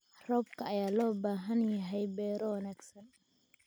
Roobka ayaa loo baahan yahay beero wanaagsan.